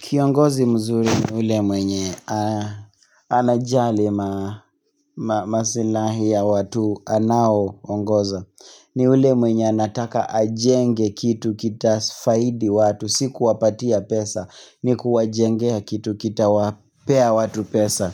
Kiongozi mzuri ni ule mwenye anajali masilahi ya watu anaoongoza. Ni ule mwenye anataka ajenge kitu kitafaidi watu. Sikuwapatia pesa ni kuwajengea kitu kitawapea watu pesa.